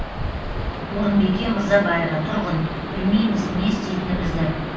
орынбике мырзабаева тұрғын білмейміз не істейтінімізді